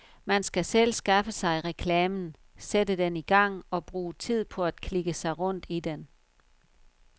Man skal selv skaffe sig reklamen, sætte den i gang og bruge tid på at klikke sig rundt i den.